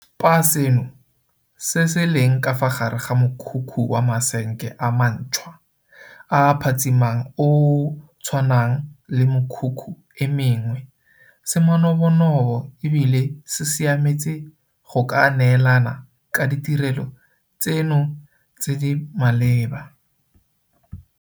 Spa seno, se se leng ka fa gare ga mokhukhu wa masenke a mantšhwa a a phatsimang o o tshwanang le mekhukhu e mengwe, se manobonobo e bile se siametse go ka neelana ka ditirelo tseno tse di maleba.